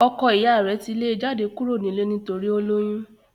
ọkọ iya rẹ̀ ti lé e jáde kúrò nílé nítorí ó lóyún